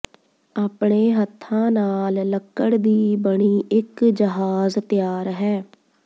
ਆਪਣੇ ਹੱਥਾਂ ਨਾਲ ਲੱਕੜ ਦੀ ਬਣੀ ਇਕ ਜਹਾਜ਼ ਤਿਆਰ ਹੈ